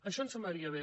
això ens semblaria bé